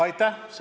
Aitäh!